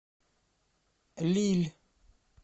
лилль